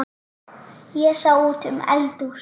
Ég sá út um eldhús